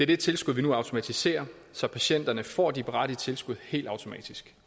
det tilskud vi nu automatiserer så patienterne får de berettigede tilskud helt automatisk